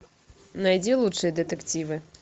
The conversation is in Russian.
найди лучшие детективы